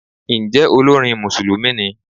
Ǹjẹ́ olórin Mùsùlùmí ni?